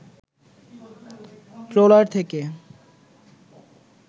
trawler থেকে